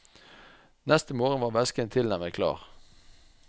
Neste morgen var væsken tilnærmet klar.